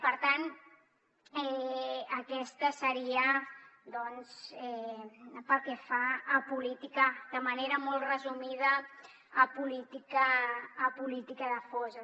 per tant aquesta seria doncs pel que fa a política de manera molt resumida la política de fosses